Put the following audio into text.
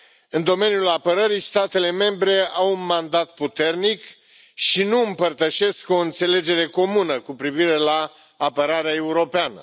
În domeniul apărării, statele membre au un mandat puternic și nu împărtășesc o înțelegere comună cu privire la apărarea europeană.